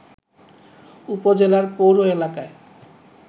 উপজেলার পৌর এলাকায়